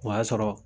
O y'a sɔrɔ